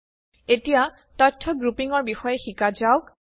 এতিয়া তথ্য গ্ৰুপিঙ ৰ বিষয়ে শিকা যাওক